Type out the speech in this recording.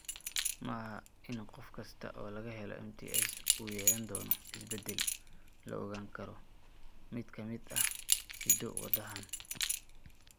Ma aha in qof kasta oo laga helo MTS uu yeelan doono isbeddel la ogaan karo mid ka mid ah hiddo-wadahan.